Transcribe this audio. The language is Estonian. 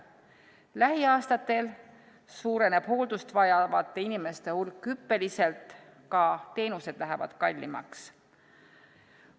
Lähiaastatel suureneb hooldust vajavate inimeste hulk hüppeliselt, ka teenused lähevad kallimaks.